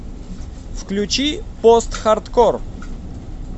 включи постхардкор